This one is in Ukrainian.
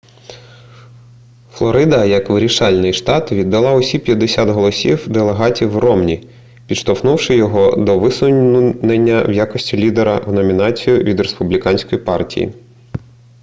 флорида як вирішальний штат віддала усі п'ятдесят голосів делегатів ромні підштовхнувши його до висунення в якості лідера в номінацію від республіканської партії